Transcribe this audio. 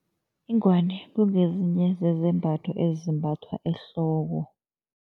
Ingwani kungezinye zezambatho ezimbathwa ehloko.